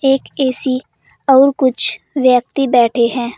एक ए_सी और कुछ व्यक्ति बैठे है।